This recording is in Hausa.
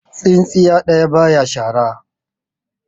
Tsintsiya ɗaya baya shara